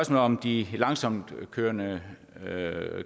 om de langsomtkørende